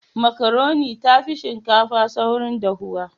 Makaroni tafi shinkafa saurin dahuwa